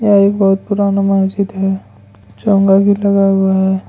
यह एक बहुत पुराना मस्जिद है चोंगा भी लगा हुआ है।